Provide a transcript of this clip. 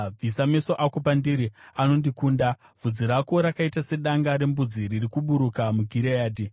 Bvisa meso ako pandiri; anondikunda. Bvudzi rako rakaita sedanga rembudzi riri kuburuka muGireadhi.